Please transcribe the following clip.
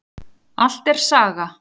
Allt er saga.